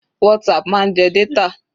WhatsApp máa ń jẹ data.